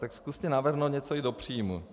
Tak zkuste navrhnout něco i do příjmů.